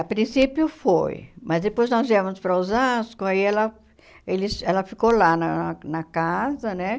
A princípio foi, mas depois nós viemos para Osasco, aí ela eles ela ficou lá na na casa, né?